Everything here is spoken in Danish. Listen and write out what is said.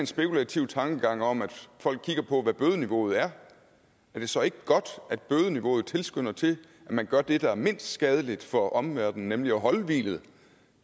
spekulativ tankegang om at folk kigger på hvad bødeniveauet er er det så ikke godt at bødeniveauet tilskynder til at man gør det der er mindst skadeligt for omverdenen nemlig at holde hvilet